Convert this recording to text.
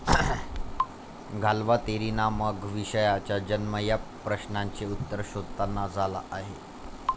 घालवा तेरी ना मग विषयाचा जन्म या प्रश्नांचे उत्तर शोधताना झाला आहे